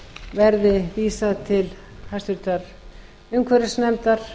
verði vísað til háttvirtrar umhverfisnefndar